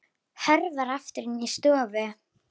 Hörfar aftur inn í stofu.